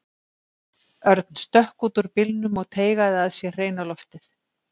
Örn stökk út úr bílnum og teygaði að sér hreina loftið.